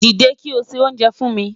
Dide ki o se onjè fun mi